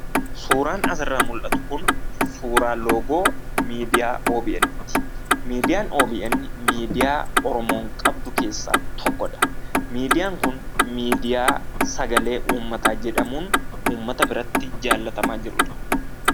Suuraan asirraa mul'atu Kun, suuraa loogoo miidiyaa OBN ti. Miidiyaan OBN, miidiyaa Oromoon qabdu keessaa tokko dha. Miidiyaa Kun miidiyaa sagalee uummataa jedhamuun uummata biratti jaallatamaa jirudha.